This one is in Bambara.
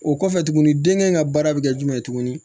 O kɔfɛ tuguni den kɛɲ ka baara bɛ kɛ jumɛn